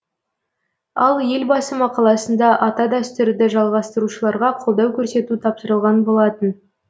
ал елбасы мақаласында ата дәстүрді жалғастырушыларға қолдау көрсету тапсырылған болатын